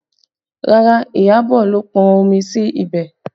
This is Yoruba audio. Rárá, Iyabọ̀ ló pọn omi sí ibẹ̀